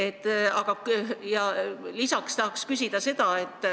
Tahan küsida veel sellist asja.